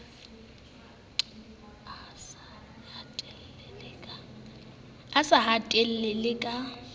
o sa hetle le ka